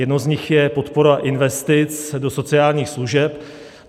Jednou z nich je podpora investic do sociálních služeb.